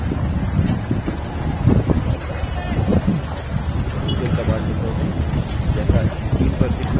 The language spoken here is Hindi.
sql command window में जैसा screen पर दिख रहा है वैसा type करें